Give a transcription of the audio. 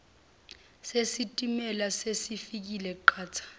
nesitimela sesifike qatha